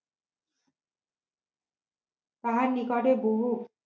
তাহার নিকটে বহু